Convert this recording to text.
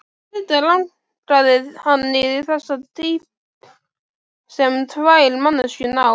Auðvitað langaði hann í þessa dýpt sem tvær manneskjur ná.